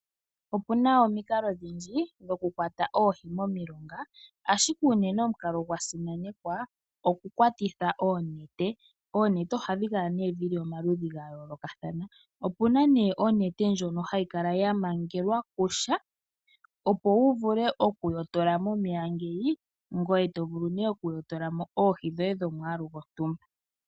Opu na omikalo odhindji dhokukwata oohi momilonga ashike unene omukalo gwa simanekwa okukwatitha oonete. Oonete ohadhi kala omaludhi ga yoolokathana opu na onete ndyono hayi kala ya mangelwa kusha opo wu vule okuyotola momeya ngoye to vulu okuyotolamo oohi dhoye dhomwaalu gontumba.